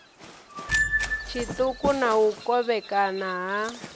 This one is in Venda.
tshiṱuku na u kovhekana ha